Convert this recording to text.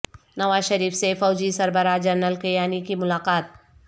نواز شریف سے فوجی سربراہ جنرل کیانی کی ملاقات